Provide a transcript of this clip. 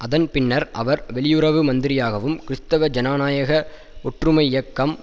அதன் பின்னர் அவர் வெளியுறவு மந்திரியாகவும் கிறஸ்துவ ஜனநாயக ஒற்றுமை இயக்கம்